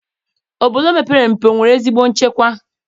Obodo mepere emepe enwere ezigbo nchekwa?